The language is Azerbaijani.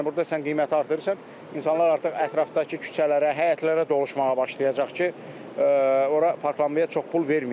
Yəni burda sən qiyməti artırırsan, insanlar artıq ətrafdakı küçələrə, həyətlərə doluşmağa başlayacaq ki, ora parklanmaya çox pul verməyim.